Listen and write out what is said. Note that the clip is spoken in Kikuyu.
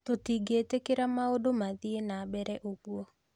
Tũtĩngitikira maũndũ mathii na mbere ũgũo